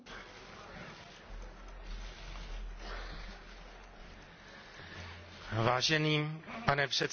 Za možnost vystoupit v Evropském parlamentu, v jedné z klíčových institucí Evropské unie,